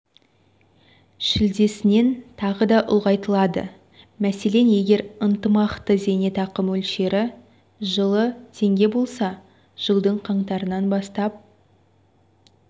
шілдесінен тағы да ұлғайтылады мәселен егер ынтымақты зейнетақы мөлшері жылы теңге болса жылдың қаңтарынан бастап